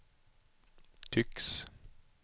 tycks